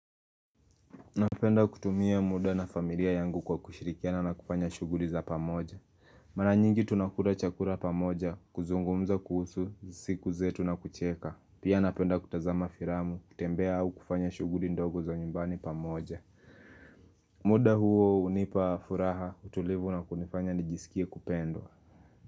Napenda kutumia muda na familia yangu kwa kushirikiana na kufanya shughuli za pamoja Mara nyingi tunakula chakula pamoja, kuzungumza kuhusu, siku zetu na kucheka Pia napenda kutazama filamu, kutembea au kufanya shughuli ndogo za nyumbani pamoja muda huo hunipa furaha, utulivu na kunifanya nijisikia kupendwa.